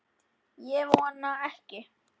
Ég vona ekki